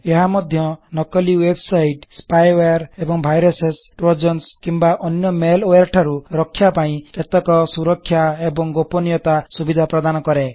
ଏହା ମଧ୍ୟ ନକଲି ୱେବସାଇଟ ସ୍ପାଇୱେୟାର ଏବଂ ଭାଇରସସେ ତରୋଜନ୍ସ୍ କିମ୍ବା ଅନ୍ୟ ମାଲୱାରେ ଠାରୁ ରଖ୍ୟା ପାଇଁ କେତେକ ସୁରଖ୍ୟା ଏବଂ ଗୋପନୀୟତା ସୁବିଧା ପ୍ରଦାନ କରେ